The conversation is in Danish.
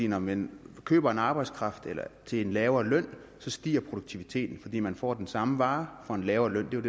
når man køber arbejdskraft til en lavere løn stiger produktiviteten fordi man får den samme vare for en lavere løn det er